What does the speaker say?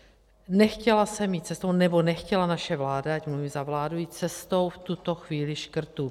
Nechtěla jsem jít cestou, nebo nechtěla naše vláda, ať mluvím za vládu, jít cestou v tuto chvíli škrtů.